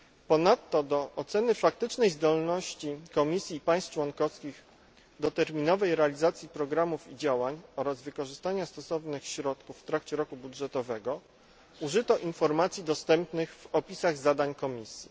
Ponadto do oceny faktycznej zdolności Komisji i państw członkowskich do terminowej realizacji programów i działań oraz wykorzystania stosownych środków w trakcie roku budżetowego użyto informacji dostępnych w opisach zadań Komisji.